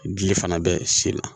Ji fana bɛ sen na